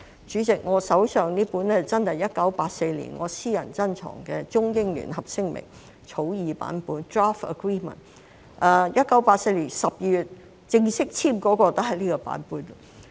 主席，我手上的是我的私人珍藏，真的是1984年《中英聯合聲明》的草擬版本 ，1984 年12月正式簽署的也是這個版本。